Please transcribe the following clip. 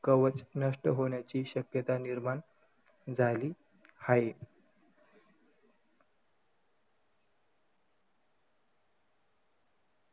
कवच नष्ट होण्याची शक्यता निर्माण झाली आहे.